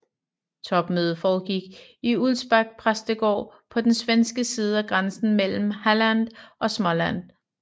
Topmødet foregik i Ulvsbäck præstegård på den svenske side af grænsen mellem Halland og Småland